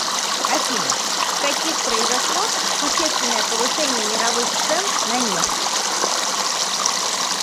афина в каких произошло существенное повышение мировых цен на нефть